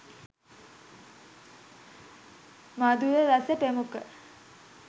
මධුර රස ප්‍රමුඛ